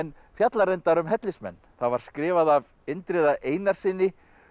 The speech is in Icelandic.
fjallar reyndar um hellismenn það var skrifað af Indriða Einarssyni